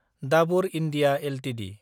Dabur India Ltd